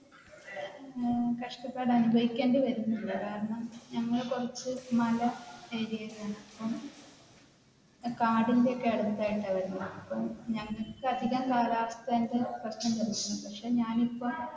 ഏർ കഷ്ടപ്പാട് അനുഭവിക്കേണ്ടി വരും അതുകാരണം നമ്മൾ കുറച്ചു മല area ഒക്കെയാണ് അപ്പ കാടിന്റെ ഒക്കെ അടുത്തായിട്ടാണ് വരുനന്ത അപ്പൊ ഞങ്ങൾക്ക് അധികം കാലാവസ്ഥയുടെ പ്രശ്നം വരുന്നുണ്ട്. പക്ഷെ ഞാൻ ഇപ്പം